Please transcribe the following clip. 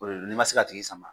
O de don n'i ma se ka tigi sama,